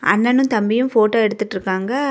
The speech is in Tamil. அண்ணனும் தம்பியும் ஃபோட்டோ எடுத்துட்டுருக்காங்க.